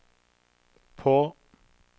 på